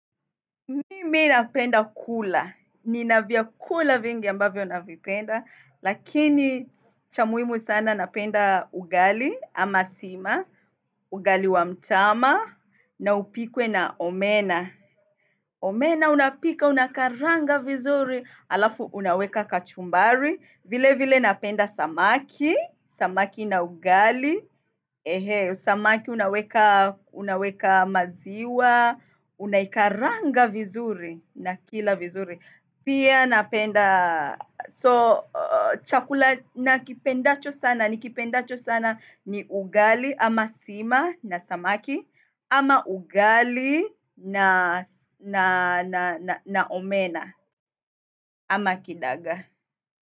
Mimi napenda kula. Nina vyakula vingi ambavyo navipenda, lakini cha muhimu sana napenda ugali ama sima, ugali wa mtama, na upikwe na omena. Omena unapika, unakaranga vizuri, alafu unaweka kachumbari, vile vile napenda samaki, samaki na ugali, samaki unaweka unaweka maziwa, unaikaranga vizuri. Na kila vizuri. Pia napenda. So chakula na kipendacho sana nikipendacho sana ni ugali ama sima na samaki ama ugali na omena ama kidagaa.